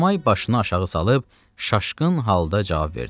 Enomay başını aşağı salıb şaşqın halda cavab verdi.